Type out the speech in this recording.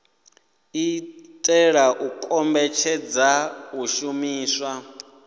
itela u kombetshedza u shumiswa